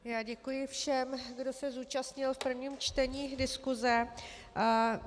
Já děkuji všem, kdo se zúčastnil v prvním čtení diskuse.